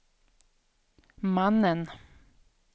mannen